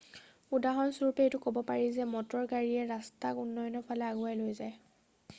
উদাহৰণস্বৰূপে এইটো কব পাৰি যে মটৰ গাড়ীয়ে ৰাস্তাক উন্নয়নৰ ফালে আগুৱাই লৈ যায়